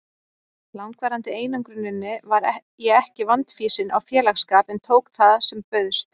langvarandi einangruninni var ég ekki vandfýsin á félagsskap en tók það sem bauðst.